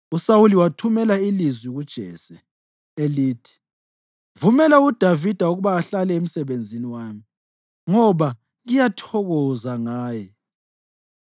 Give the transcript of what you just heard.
USawuli wathumela ilizwi kuJese, elithi, “Vumela uDavida ukuba ahlale emsebenzini wami, ngoba ngiyathokoza ngaye.”